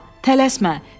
Tələsmə.